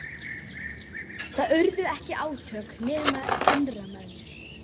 Það urðu ekki átök, nema innra með mér.